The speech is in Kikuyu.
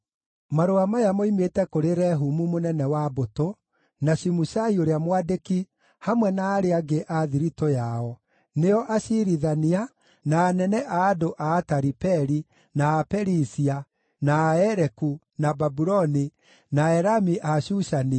Marũa maya moimĩte kũrĩ niĩ Rehumu mũnene wa mbũtũ, na Shimushai ũrĩa mwandĩki, hamwe na arĩa angĩ a thiritũ yao, na aciirithania, na anene a andũ a Ataripeli, na a Perisia, na a Ereku, na Babuloni, na Aelami a Shushani,